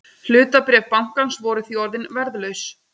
Hlutabréf bankans voru því orðin verðlaus